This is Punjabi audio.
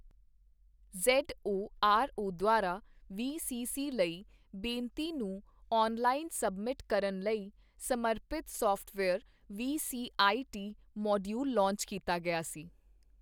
ਜ਼ੇੱਡਓ ਆਰਓ ਦੁਆਰਾ ਵੀਸੀਸੀ ਲਈ ਬੇਨਤੀ ਨੂੰ ਔਨਲਾਈਨ ਸਬਮਿਟ ਕਰਨ ਲਈ ਸਮਰਪਿਤ ਸੌਫਟਵੇਅਰ ਵੀਸੀਆਈਟੀ ਮੋਡੀਊਲ ਲਾਂਚ ਕੀਤਾ ਗਿਆ ਸੀ।